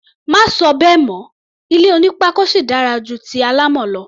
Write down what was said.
Má sọ bẹ́ẹ̀ mọ́! Ilé onípákó sì dára ju ti alámọ̀ lọ.